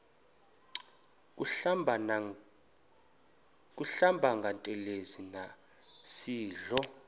kuhlamba ngantelezi nasidlo